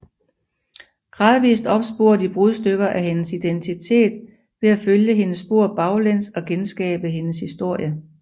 Gradvist opsporer de brudstykker af hendes identitet ved at følge hendes spor baglæns og genskabe hendes historie